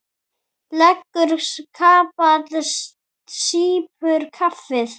Leggur kapal, sýpur kaffið.